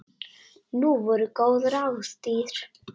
Nú voru góð ráð dýr!